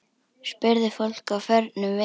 Spurði fólk á förnum vegi.